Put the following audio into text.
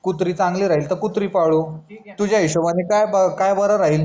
कुत्री चांगली राहील तर कुत्री पाडू तुझ्या हिशोबणे काय बर राहील